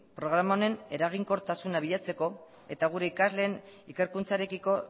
programa honen eraginkortasuna bilatzeko eta gure ikasleen ikerkuntzarekiko